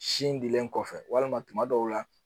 Sin dilen kɔfɛ walima tuma dɔw la